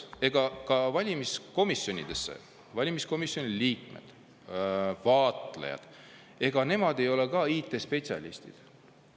Ega valimiskomisjonide liikmed ja vaatlejad ei ole IT-spetsialistid.